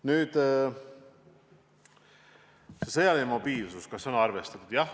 Nüüd sellest sõjalisest mobiilsusest: kas sellega on arvestatud?